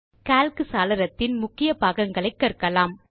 Calc சாளரத்தின் முக்கிய பாகங்களை கற்கலாம்